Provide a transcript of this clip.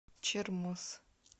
чермоз